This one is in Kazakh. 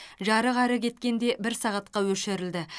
жарық әрі кеткенде бір сағатқа өшірілді